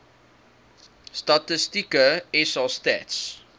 statistieke sa stats